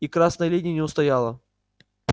и красная линия не устояла